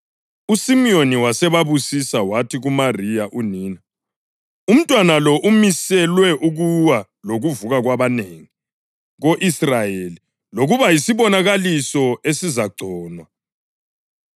USimiyoni wasebabusisa, wathi kuMariya unina: “Umntwana lo umiselwe ukuwa lokuvuka kwabanengi ko-Israyeli, lokuba yisibonakaliso esizagconwa,